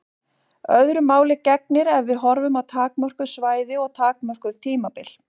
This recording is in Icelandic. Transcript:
Öðru máli gegnir ef við horfum á takmörkuð svæði og takmörkuð tímabil.